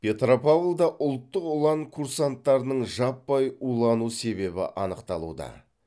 петропавлда ұлттық ұлан курсанттарының жаппай улану себебі анықталуда